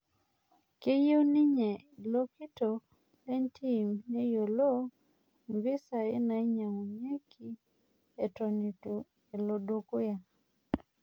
Keyieu ninye ilo kitok lentim neyiolou impisai nainyang'unyieki eton ityu elo dukuya